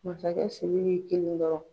Masakɛ Siriki kelen dɔrɔn.